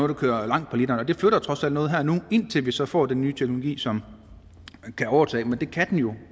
der kører langt på literen det flytter trods alt noget her og nu indtil vi så får den nye teknologi som kan overtage men det kan den jo